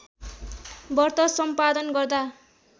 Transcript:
व्रत सम्पादन गर्दा